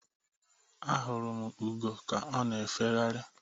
Ahụrụ m ugo ka ọ na efegharị.